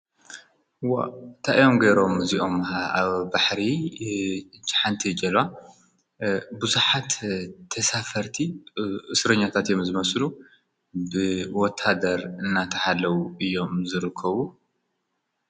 ታኤዮምጌይሮም እዚኦም ኣብ ባሕሪ ጨሓንቲይጀልዋ ብዙኃት ተሳፈርቲ ሥርኛታት እየም ዝመስሉ ብወታደር እናተሓለዉ እዮም ዝርከቡ።